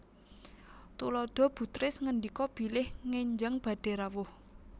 Tuladha Bu Tris ngendika bilih ngenjang badhé rawuh